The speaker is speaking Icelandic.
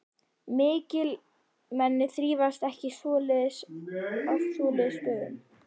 Mikilmenni þrífast ekki á svoleiðis stöðum.